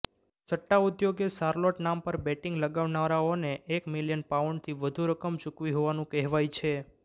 સટ્ટાઉદ્યોગે Charlotte નામ પર betting લગાવનારાઓને એક મિલિયન પાઉન્ડથી વધુ રકમ ચૂકવી હોવાનું કહેવાય છે